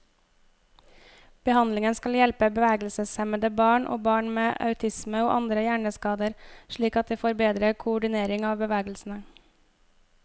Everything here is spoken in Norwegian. Behandlingen skal hjelpe bevegelseshemmede barn, og barn med autisme og andre hjerneskader slik at de får bedre koordinering av bevegelsene.